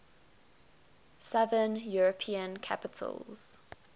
southern european capitals